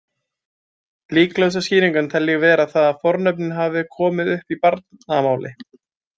Líklegustu skýringuna tel ég vera þá að fornöfnin hafi komið upp í barnamáli.